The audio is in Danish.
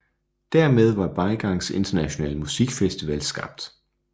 Dermed var Beigangs Internationale Musikfestival skabt